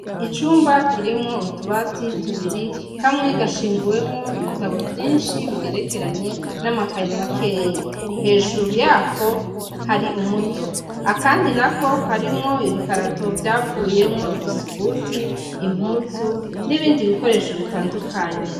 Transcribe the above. Icumba kirimwo utubati tubiri, kamwe gashinguwemwo ibitabo vyinshi bigerekeranye, n’amakaye makeya, hejuru yako hari umudo. Akandi nako karimwo ibikarato vyavuyemwo ibisuguti, impuzu , n’ibindi bikoresho bitandukanye.